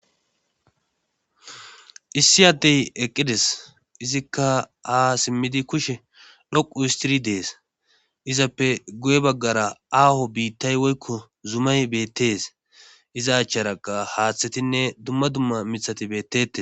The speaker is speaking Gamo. issi addey eqqides izikka aa simmidi kushe lhoqu istiri dees izappe goye baggara aaho biittay woykko zumay bettees iza acharaqa haaththetinne dumma dumma mithati bettete